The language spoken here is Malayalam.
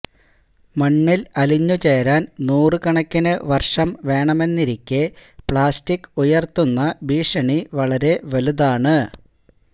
മണ്ണില് അലിഞ്ഞുചേരാന് നൂറുകണക്കിനു വര്ഷം വേണമെന്നിരിക്കെ പ്ലാസ്റ്റിക് ഉയര്ത്തുന്ന ഭീഷണി വളരെ വലുതാണ്